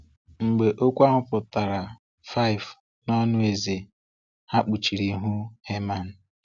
Mgbe okwu ahụ putara5 n'ọnụ eze, ha kpuchiri ihu Heman.